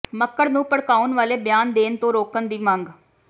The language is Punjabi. ਮੱਕੜ ਨੂੰ ਭੜਕਾਉਣ ਵਾਲੇ ਬਿਆਨ ਦੇਣ ਤੋਂ ਰੋਕਣ ਦੀ ਮੰਗ